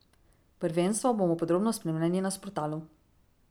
Prvenstvo bomo podrobno spremljali na Sportalu.